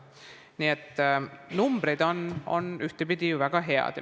Nii et numbrid on ühtepidi ju väga head.